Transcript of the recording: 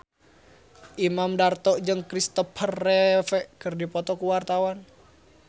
Imam Darto jeung Kristopher Reeve keur dipoto ku wartawan